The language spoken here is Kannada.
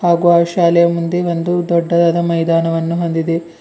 ಹಾಗು ಆ ಶಾಲೆಯ ಮುಂದೆ ಒಂದು ದೊಡ್ಡದಾದ ಮೈದಾನವನ್ನು ಹೊಂದಿದೆ.